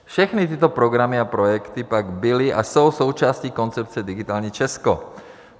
Všechny tyto programy a projekty pak byly a jsou součástí koncepce Digitální Česko.